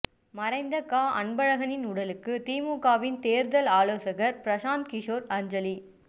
மறைந்த க அன்பழகனின் உடலுக்கு திமுகவின் தேர்தல் ஆலோசகர் பிரசாந்த் கிஷோர் அஞ்சலி